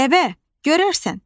Dəvə, görərsən.